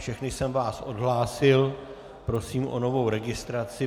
Všechny jsem vás odhlásil, prosím o novou registraci.